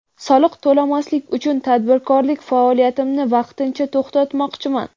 Soliq to‘lamaslik uchun tadbirkorlik faoliyatimni vaqtincha to‘xtamoqchiman.